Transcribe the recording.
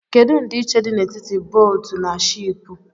Kedu ndịịche dị n'etiti bóótù na shịịpù?